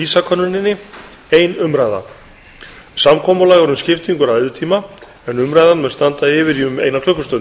samkomulag er um skiptingu ræðutíma en umræðan mun standa yfir í um eina klukkustund